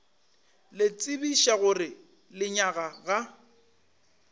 le tsebiša gore lenyaga ga